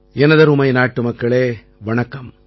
எனதருமை நாட்டுமக்களே வணக்கம்